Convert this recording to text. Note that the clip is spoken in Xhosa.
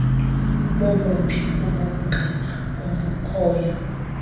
bobuphi ubungqina obukhoyo